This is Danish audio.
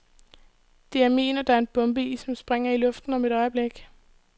Det er min, og der er en bombe i, som springer i luften om et øjeblik.